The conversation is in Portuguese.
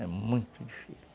É muito difícil.